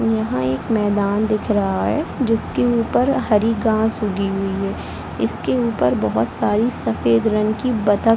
यहाँ एक मैदान दिख रहा है जिसके ऊपर हरी गाँस उगी हुई है इसके ऊपर बहोत सारी सफ़ेद रंग की बत्तख--